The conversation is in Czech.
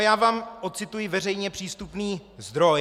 A já vám ocituji veřejně přístupný zdroj.